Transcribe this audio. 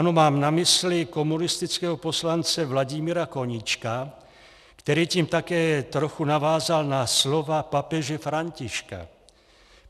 Ano, mám na mysli komunistického poslance Vladimíra Koníčka, který tím také trochu navázal na slova papeže Františka.